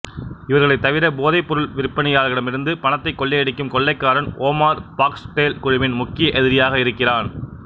இவர்களைத் தவிர போதைப் பொருள் விற்பனையாளர்களிடமிருந்து பணத்தைக் கொள்ளையடிக்கும் கொள்ளைக்காரன் ஓமார் பார்க்ஸ்டேல் குழுவின் முக்கிய எதிரியாக இருக்கிறான்